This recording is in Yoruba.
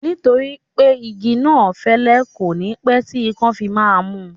Nítorí pé igi náà fẹ́lẹ́, kò ní pẹ́ tí ikán fi máa mú